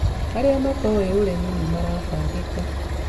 Arĩa matoĩ ũrĩmi ni maratangĩka